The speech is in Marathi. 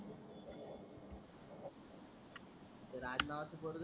ते राज नावाच पोरग